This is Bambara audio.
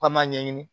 K'an m'a ɲɛɲini